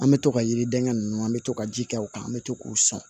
An bɛ to ka yiriden ninnu an bɛ to ka ji kɛ u kan an bɛ to k'u sɔn